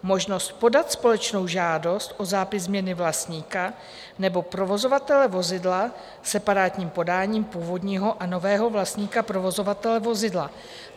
možnost podat společnou žádost o zápis změny vlastníka nebo provozovatele vozidla separátním podáním původního a nového vlastníka provozovatele vozidla.